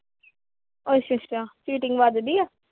ਅੱਛਾ-ਅੱਛਾ cheating ਵੱਜਦੀ ਆ?